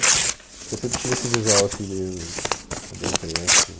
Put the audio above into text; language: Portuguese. Porque eu sempre tive esse visual, assim, meio cabelo crespo.